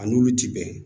A n'olu ti bɛn